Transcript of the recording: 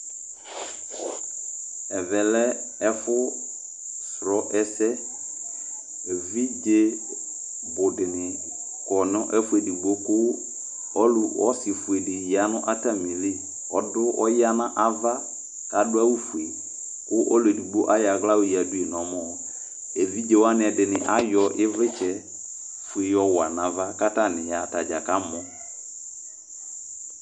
ɛvɛ lɛ ɛfʋ srɔɛse ɛvidzɛ bu dini kɔ nʋ ɛfʋ ɛdigbo kʋ ɔlʋ ɔsi fʋɛ di yanʋ atamili ɔdʋ ɔya nava kʋ adʋ awʋ fʋɛ kʋ ɔlʋ ɛdigbo ayɔ ala yɔ yɛdʋi nʋ ɔmɔ ɛvidzɛ wani edini ayɔ ivlitsɛ yɔ wa nava katani ka mɔ